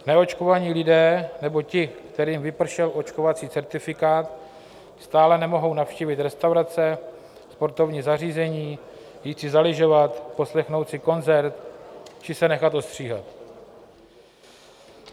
Neočkovaní lidé nebo ti, kterým vypršel očkovací certifikát, stále nemohou navštívit restaurace, sportovní zařízení, jít si zalyžovat, poslechnout si koncert či se nechat ostříhat.